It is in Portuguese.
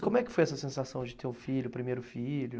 E como é que foi essa sensação de ter um filho, primeiro filho.